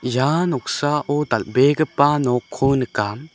ia noksao dal·begipa nokko nika.